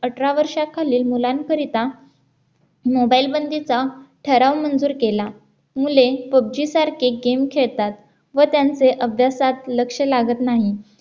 अठरा वर्षाखालील मुलांकरिता mobile बंदीचा ठराव मंजूर केला मुले पब्जी सारखे गेम खेळतात व त्यांचे अभ्यासात लक्ष लागत नाही